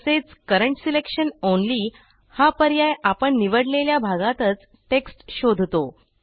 तसेच current selection only हा पर्याय आपण निवडलेल्या भागातच टेक्स्ट शोधतो